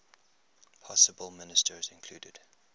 possible ministers included